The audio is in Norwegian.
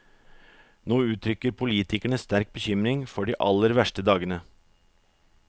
Nå uttrykker politikerne sterk bekymring for de aller verste dagene.